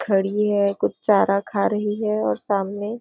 खड़ी है कुछ चारा खा रही है और सामने.